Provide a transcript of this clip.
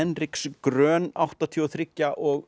Hendriks Groen áttatíu og þrjú og